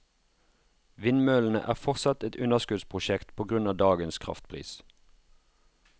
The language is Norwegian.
Vindmøllene er fortsatt et underskuddsprosjekt på grunn av dagens kraftpris.